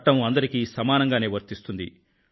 చట్టం అందరికీ సమానంగానే వర్తిస్తుంది